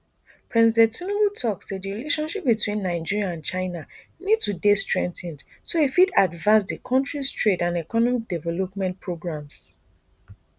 president tinubu tok say di relationship between nigeria and china need to dey strengthened so e fit advance di kontris trade and economic development programmes